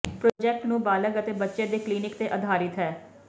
project ਨੂੰ ਬਾਲਗ ਅਤੇ ਬੱਚੇ ਦੇ ਕਲੀਨਿਕ ਤੇ ਅਧਾਰਿਤ ਹੈ